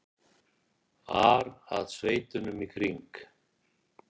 ar að sveitunum í kring.